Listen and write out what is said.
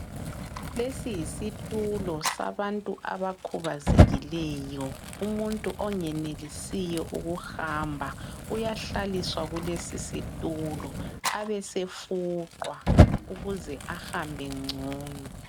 Lesi yisitulo sabantu abakhubazekileyo. Umuntu ongenelisiyo ukuhamba uyahlaliswa kulesi situlo abesefuqwa ukuze ahambe ngcono.